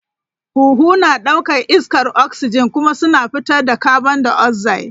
Huhu na ɗaukar iskar oxygen kuma suna fitar da carbondioxide.